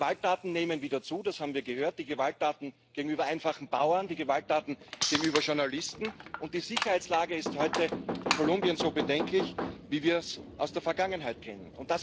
Die Gewalttaten nehmen wieder zu das haben wir gehört die Gewalttaten gegenüber einfachen Bauern, die Gewalttaten gegenüber Journalisten, und die Sicherheitslage ist heute in Kolumbien so bedenklich, wie wir es aus der Vergangenheit kennen.